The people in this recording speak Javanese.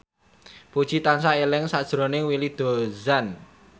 Puji tansah eling sakjroning Willy Dozan